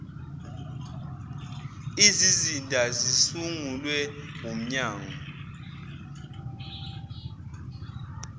izizinda zisungulwe wumnyango